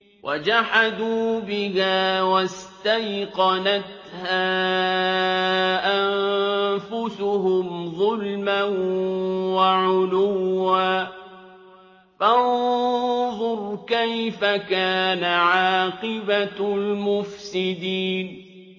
وَجَحَدُوا بِهَا وَاسْتَيْقَنَتْهَا أَنفُسُهُمْ ظُلْمًا وَعُلُوًّا ۚ فَانظُرْ كَيْفَ كَانَ عَاقِبَةُ الْمُفْسِدِينَ